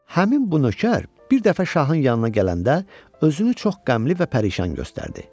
Həmin bu nökər bir dəfə şahın yanına gələndə özünü çox qəmli və pərişan göstərdi.